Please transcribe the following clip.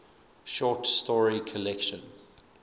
short story collection